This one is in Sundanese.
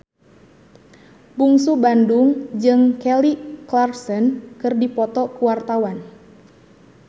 Bungsu Bandung jeung Kelly Clarkson keur dipoto ku wartawan